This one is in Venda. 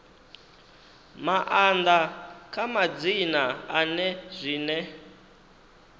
maanḓa kha madzina ane zwine